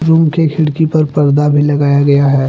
Room के खिड़की पर पर्दा भी लगाया गया है।